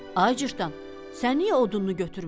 Ay cırtdan, sən niyə odununu götürmürsən?